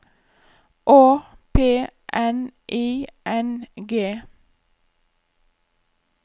Å P N I N G